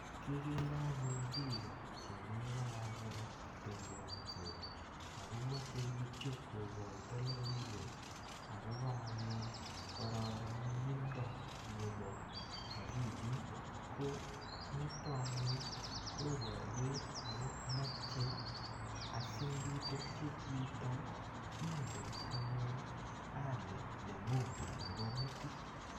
kikere anyun piko chemiparapara kotembeansot ako mache pichu kokaita lokoiwek akopa korornindo ap akilit ko nitok anyun koparwech ako mache asingitepche chito ingen anyu hali nengun nepo metit.